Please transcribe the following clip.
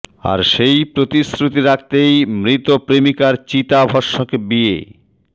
আর সেই প্রতিশ্রতি রাখতেই মৃত প্রেমিকার চিতা ভস্মকে বিয়ে